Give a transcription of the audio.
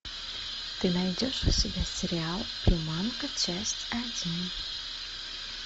ты найдешь у себя сериал приманка часть один